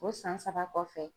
O san saba kɔfɛ